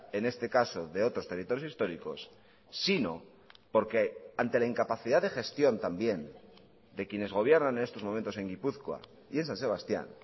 en este caso de otros territorios históricos sino porque ante la incapacidad de gestión también de quienes gobiernan en estos momentos en gipuzkoa y en san sebastián